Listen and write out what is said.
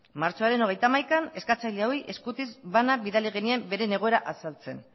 martxoaren hogeita hamaikan eskatzen eskatzaileoi eskutitz bana bidali genien beren egoera azaltzen